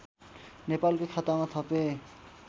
नेपालको खातामा थपे